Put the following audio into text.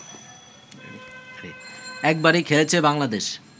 একবারই খেলেছে বাংলাদেশ